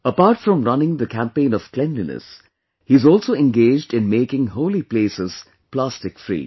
Apart from running the campaign of cleanliness, he is also engaged in making holy places plastic free